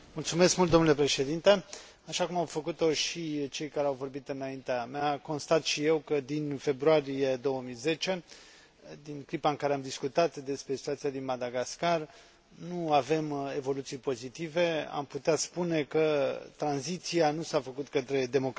Așa cum au făcut o și cei care au vorbit înaintea mea, constat și eu că, din februarie 2010, din clipa în care am discutat despre situația din Madagascar, nu avem evoluții pozitive, am putea spune că tranziția nu s a făcut către democrație, ci către o criză